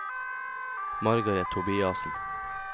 Margareth Tobiassen